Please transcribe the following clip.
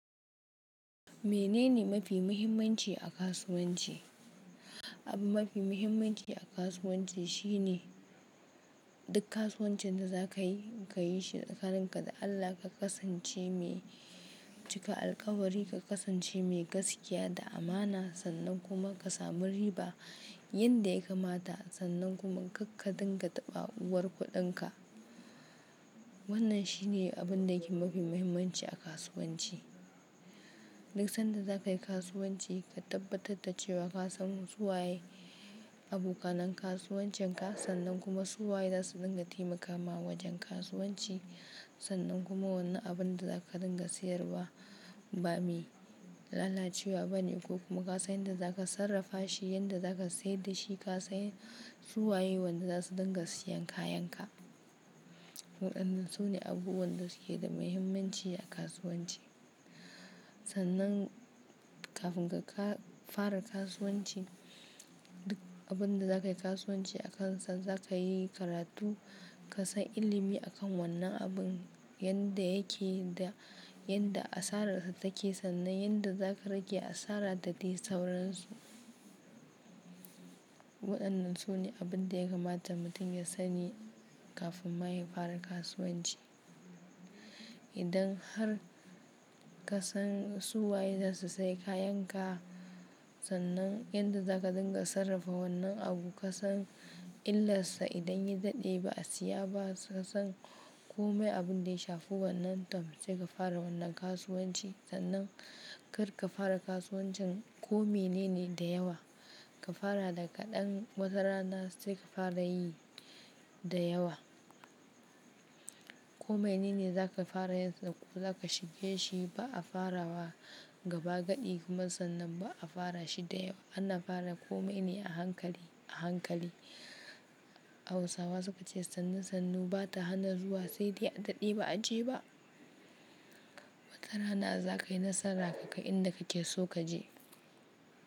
Menene mafi muhimmanci a kasuwanci? Abu mafi muhimmanci a kasuwanci shine duk kasuwancin da za ka yi, ka yi shi tsa kaninka da Allah, ka kasance mai cika alkawari, ka kasance mai gaskiya da amana, sannan kuma ka sami riba yanda ya kamata, sannan kuma kar ka dinga taɓa uwar kuɗinka. Wannan shine abun da yake mafi muhimmanci a kasuwanci. Duk sanda za ka yi kasuwanci, ka tabbatar da cewa ka san suwaye abokanan kasuwancinka, sannan kuma suwaye za su dinga taimakama wajen kasuwanci. Sannan kuma wanna abun da za ka dinga sayarwa ba mi lalacewa ba ne, ko kuma ka san yadda za ka sarrafa shi, yadda za ka sayar da shi, ka san suwaye wanda za su dinga siyan kayanka. Waɗannan su ne abubuwan da suke da muhimmanci a kasuwanci. Sannan kafin ka fara kasuwanci, duk abun da za ka yi kasuwanci akansa za ka yi karatu, ka san ilimi akan wannan abun yanda yake da yadda asararsa take, sannan yadda za ka rage asara da daisauransu. Waɗannan su ne abin da ya kamata mutum ya sani kafin ma ya fara kasuwanci. Idan har ka san suwaye za su sayi kayanka, sannan yadda za ka dinga sarrafa wannan abu, ka san illarsa idan ya daɗe ba a siya ba, ka san kome abin da ya shafi wannan tam, sai ka fara wannan kasuwanci. Sannan kar ka fara kasuwancin kome nene da yawa. Ka fara daga ɗan watara na, sai ka fara yi da yawa. Kome nene za ka fara yanzu ko za ka shige shi ba a fara wa gaba gaɗi kuma sannan ba a fara shi da yawa. Ana fara kome ne a hankali, a hankali. Hausawa suka ce, "Sannu sannu ba ta hana zuwa sai dai a daɗe ba a je ba." Watara na za ka yi nasara ka kai inda kake so ka je.